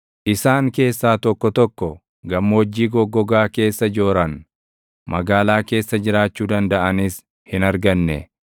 Isaan keessaa tokko tokko gammoojjii goggogaa keessa jooran; magaalaa keessa jiraachuu dandaʼanis hin arganne.